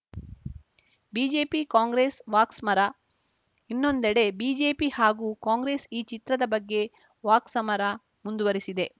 BJP Congress ವಾಕ್ಸ್ಮ್ರಾ ಇನ್ನೊಂದೆಡೆ BJP ಹಾಗೂ ಕಾಂಗ್ರೆಸ್‌ ಈ ಚಿತ್ರದ ಬಗ್ಗೆ ವಾಕ್ಸಮರ ಮುಂದುವರಿಸಿದೆ